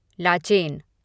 Lachen